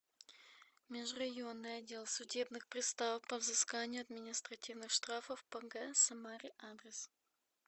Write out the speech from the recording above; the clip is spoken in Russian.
межрайонный отдел судебных приставов по взысканию административных штрафов по г самаре адрес